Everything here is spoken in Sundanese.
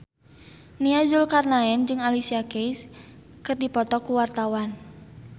Nia Zulkarnaen jeung Alicia Keys keur dipoto ku wartawan